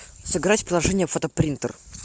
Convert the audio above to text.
сыграть в приложение фотопринтер